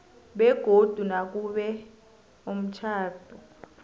begodu nakube umtjhado